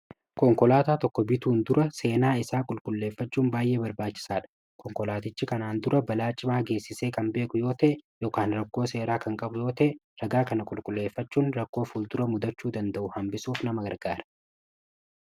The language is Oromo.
konkolaataa tokko bituun dura seenaa isaa qulqulleeffachuun baay'ee barbaachisaa dha konkolaatichi kanaan dura balaa cimaa geessisee kan beeku yoo ta'e ykn rakkoo seeraa kan qabu yoo ta'e ragaa kana qulqulleeffachuun rakkoo ful dura mudachuu danda'u hambisuuf nama gargaara.